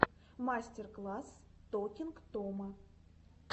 мастер класс токинг тома